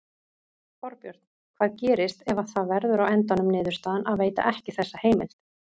Þorbjörn: Hvað gerist ef að það verður á endanum niðurstaðan að veita ekki þessa heimild?